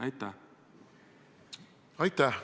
Aitäh!